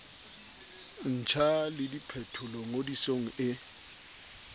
ntjha le diphetolo ngodisong e